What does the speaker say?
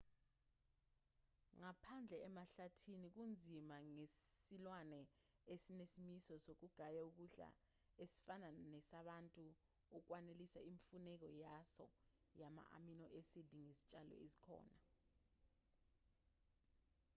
ngaphandle emahlathini kunzima ngesilwane esinesimiso sokugaya ukudla esifana nesabantu ukwanelisa imfuneko yaso yama-amino-acid ngezitshalo ezikhona